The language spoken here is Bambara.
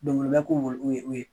ko u ye u ye